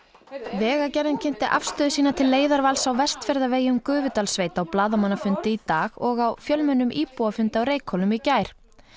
vegagerðin kynnti afstöðu sína til leiðarvals á Vestfjarðavegi um Gufudalssveit á blaðamannafundi í dag og á fjölmennum íbúafundi á Reykhólum í gær